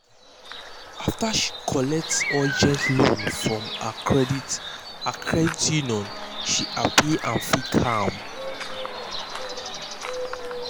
after she collect urgent loan from her credit her credit union she happy and feel calm.